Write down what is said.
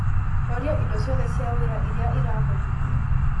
horia indo cioth cia wira iria irahutheka